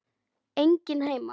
Enginn heima.